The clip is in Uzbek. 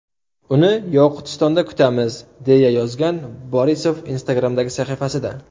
Uni Yoqutistonda kutamiz!” deya yozgan Borisov Instagram’dagi sahifasida.